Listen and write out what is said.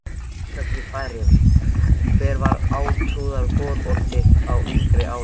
Þórshöfn í Færeyjum Hver var átrúnaðargoð þitt á yngri árum?